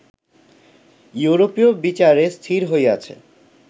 ইউরোপীয় বিচারে স্থির হইয়াছে